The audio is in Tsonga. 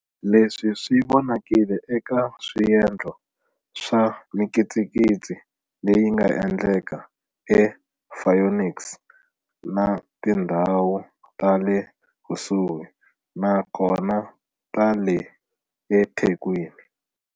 Leswi swi vonakile eka swendlo swa mikitsikitsi leyi nga endleka ePhoenix na tindhawu ta le kusuhi na kona ta le eThekwini.